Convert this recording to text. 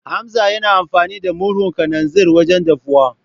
Hamza yana amfani da murhun kananzir wajen dafuwa.